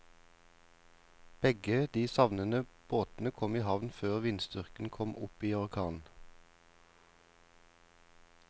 Begge de savnede båtene kom i havn før vindstyrken kom opp i orkan.